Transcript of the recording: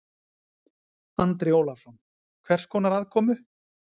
Andri Ólafsson: Hvers konar aðkomu?